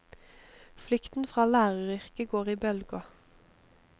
Flukten fra læreryrket går i bølger.